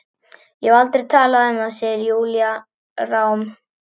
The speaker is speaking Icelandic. Ég hef aldrei talað um það, segir Júlía rám.